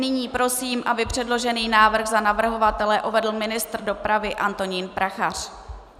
Nyní prosím, aby předložený návrh za navrhovatele uvedl ministr dopravy Antonín Prachař.